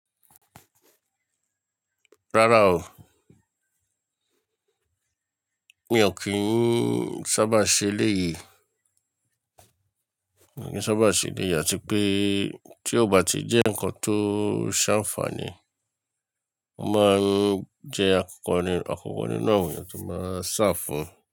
Rárá o, mi ò kí ń sábà ṣe léyìí, mi ò kí ń sábà ṣe léyìí àti pé tí ó bá ti jẹ́ nǹkan tó ṣànfààní, wọ́n máa ń jẹ́ akọ́kọ́ ni, akọ́kọ́ ninu awon eyan tó máa sáa fun.